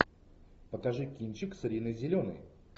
покажи кинчик с риной зеленой